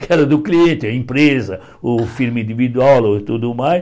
Que era do cliente, a empresa, o filme individual e tudo mais.